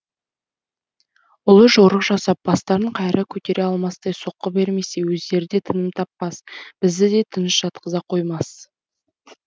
ұлы жорық жасап бастарын қайыра көтере алмастай соққы бермесе өздері де тыным таппас бізді де тыныш жатқыза қоймас